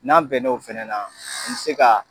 N'an bɛn n'o fɛnɛ na an bi se ka